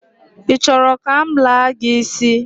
I choro ka m laa gi isi?